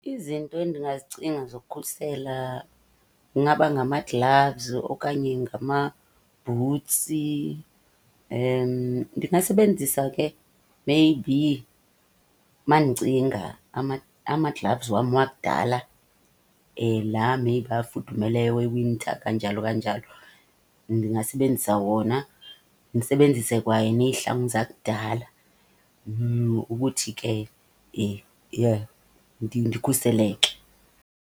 Izinto endingazicinga zokukhusela ingaba ngama-gloves okanye ngamabhutsi. Ndingasebenzisa ke maybe uma ndicinga ama-gloves wam wakudala la maybe afudumeleyo we-winter kanjalo kanjalo. Ndingasebenzisa wona, ndisebenzise kwanezihlangu zakudala ukuthi ke ndikhuseleke.